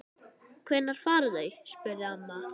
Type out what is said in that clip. Hvenær fara þau? spurði amma.